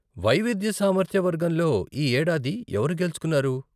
వైవిధ్య సామర్థ్య వర్గంలో ఈ ఏడాది ఎవరు గెలుచుకున్నారు?